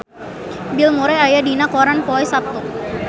Bill Murray aya dina koran poe Saptu